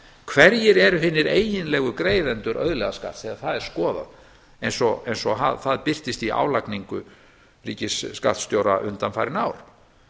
hverjir eru hinir eiginlegu greiðendur auðlegðarskatt ef að það er skoðað eins og það birtist í álagningu ríkisskattstjóra undan farin ár